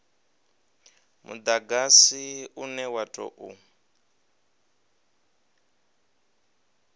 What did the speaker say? mudagasi une wa u tou